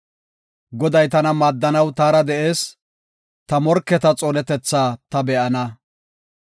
Goday tana maaddanaw taara de7ees; ta morketa xoonetethaa ta be7ana.